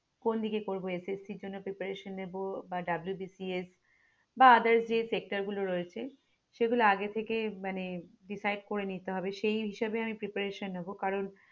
কোন দিকে করবো SSC এর জন্য preparation নেব বা WBCS বা others যে sector গুলো রয়েছে সেগুলো আগে থেকে মানে decide করে নিতে হবে সেই হিসাবে আমি preparation নেব কারন